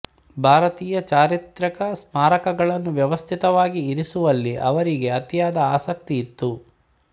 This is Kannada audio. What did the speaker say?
ಭಾರತಿಯ ಚಾರಿತ್ರ್ಯಿಕ ಸ್ಮಾರಕಗಳನ್ನು ವ್ಯವಸ್ಥಿತವಾಗಿ ಇರಿಸುವಲ್ಲಿ ಅವರಿಗೆ ಅತಿಯಾದ ಆಸಕ್ತಿಯಿತ್ತು